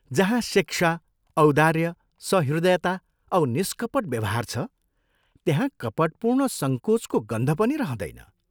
जहाँ शिक्षा, औदार्य, सहृदयता औ निष्कपट व्यवहार छ, त्यहाँ कपटपूर्ण संकोचको गन्ध पनि रहँदैन।